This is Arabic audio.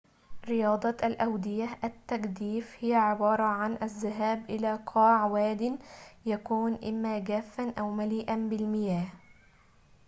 رياضة الأودية التجديف هي عبارة عن الذهاب إلى قاع واد يكون إما جافاً أو مليئاً بالمياه